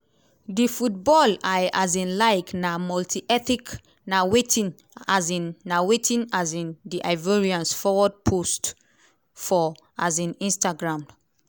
di football i um like na multi-ethnic" na wetin um na wetin um di ivorians forward post for um instagram.